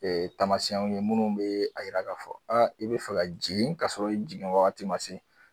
taamasiw ye minnu bɛ a yira k'a fɔ i bɛ fɛ ka jigin ka sɔrɔ i jigin waati man se.